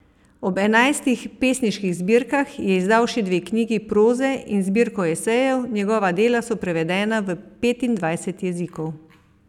Ob enajstih pesniških zbirkah je izdal še dve knjigi proze in zbirko esejev, njegova dela so prevedena v petindvajset jezikov.